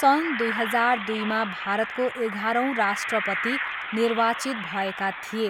सन् दुई हजार दुईमा भारतको एघारौँ राष्ट्रपति निर्वाचित भएका थिए।